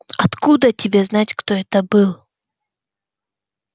откуда тебе знать кто это был